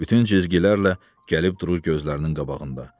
Bütün cizgilərlə gəlib durur gözlərinin qabağında.